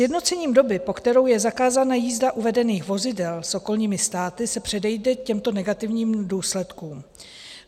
Sjednocením doby, po kterou je zakázána jízda uvedených vozidel, s okolními státy se předejde těmto negativním důsledkům.